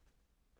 DR K